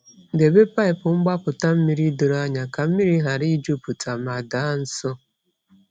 Debe paịpụ mgbapụta mmiri doro anya ka mmiri ghara ịjupụta ma daa nsọ.